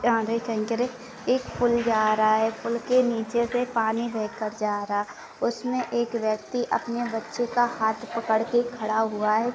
एक पूल जा रहा है। पूल के नीचे से पानी बह कर जा रहा है। उसमे एक व्यक्ति अपने बच्चे का हात पकड़ के खड़ा हुआ है।